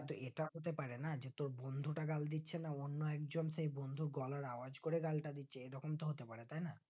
তো ইটা হতে পারেনা যে তোর বন্ধুটা গাল দিচ্ছে না কোনো একজন সেই বন্দুর গলার আওয়াজ করে গালটা দিচ্ছে এই রকম তো হতে পারে তাই না